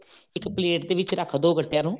ਇੱਕ ਪ੍ਲੇਟ ਦੇ ਵਿੱਚ ਰੱਖ ਦੋ ਗੱਟਿਆ ਨੂੰ